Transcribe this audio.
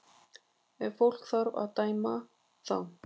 Ef fólk þarf að dæma þá